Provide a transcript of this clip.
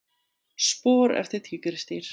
Spor eftir tígrisdýr.